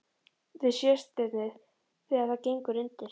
Við Sjöstirnið þegar það gengur undir.